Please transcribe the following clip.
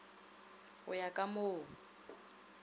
go ya ka mo o